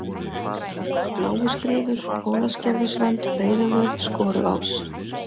Bláuskriður, Ólafsgerðisrönd, Breiðuvöð, Skoruás